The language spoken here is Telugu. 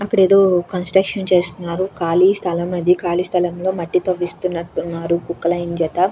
అక్కడ ఏదో కన్స్స్ట్రక్షన్ చేస్తున్నారు కాళీ స్థలం అది కాలీ స్థలం లో మట్టి తవ్విస్తున్నట్టు ఉన్నారు కొక్లైన్ చేత.